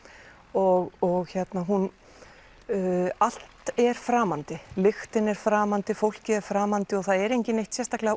og og allt er framandi lyktin er framandi fólkið er framandi og það er enginn neitt sérstaklega